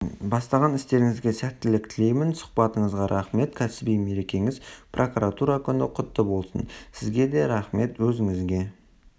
бастаған істеріңізге сәттілік тілеймін сұхбатыңызға рахмет кәсіби мерекеңіз прокуратура күні құтты болсын сізге де рахмет өзіңізге